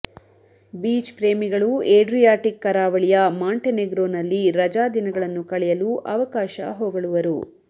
beach ಪ್ರೇಮಿಗಳು Adriatic ಕರಾವಳಿಯ Montenegro ನಲ್ಲಿ ರಜಾದಿನಗಳನ್ನು ಕಳೆಯಲು ಅವಕಾಶ ಹೊಗಳುವರು